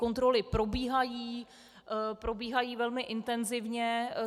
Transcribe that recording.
Kontroly probíhají, probíhají velmi intenzivně.